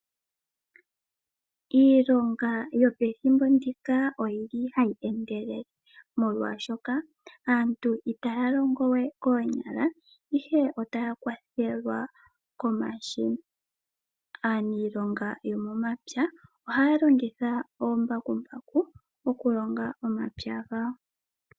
Iilonga yopethimbo ndika oyili hayi endelele, molwaashoka aantu itaya longo we koonyala ihe otaya kwathelwa komashina. Aaniilonga yo momapya ohaya longitha oombakumbaku oku longa omapya gawo.